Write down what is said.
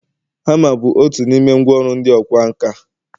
hama bụ otu n’ime ngwa ọru ndị ọkwá nkà